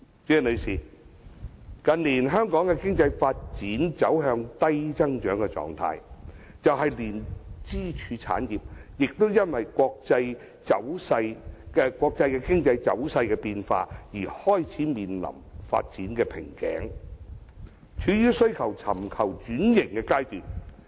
代理主席，近年香港經濟發展走向低增長狀態，連支柱產業亦因國際經濟走勢變化而開始面臨發展瓶頸，處於須尋求轉型的階段。